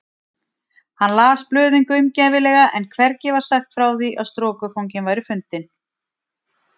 Hann las blöðin gaumgæfilega en hvergi var sagt frá því að strokufanginn væri fundinn.